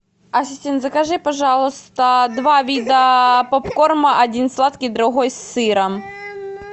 ассистент закажи пожалуйста два вида попкорна один сладкий другой с сыром